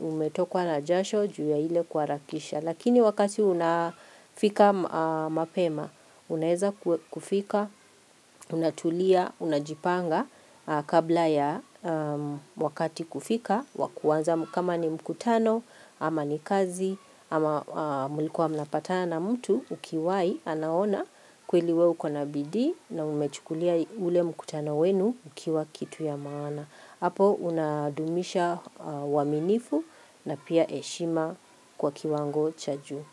umetokwa na jasho juu ya ile kuharakisha. Lakini wakati unafika mapema, unaweza kufika, unatulia, unajipanga kabla ya wakati kufika, wakuanza kama ni mkutano, ama ni kazi, ama mlikuwa mnapatana na mtu, ukiwahi anaona kweli wewe ukona bidii na umechukulia ule mkutano wenu ukiwa kitu ya maana. Hapo unadumisha uaminifu na pia heshima kwa kiwango cha juu.